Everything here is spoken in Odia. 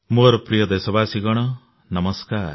ମୋର ପ୍ରିୟ ଦେଶବାସୀଗଣ ନମସ୍କାର